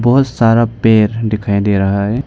बहोत सारा पेर दिखाई दे रहा है।